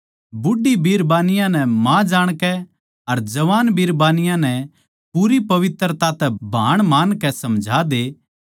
बूढ़ी बिरबानियाँ नै माँ जाणकै अर जवान बिरबानियाँ नै पूरी पवित्रता तै भाण मानकै समझा दे